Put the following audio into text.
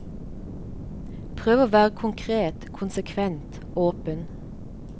Prøv å være konkret, konsekvent, åpen.